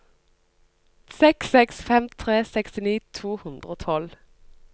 seks seks fem tre sekstini to hundre og tolv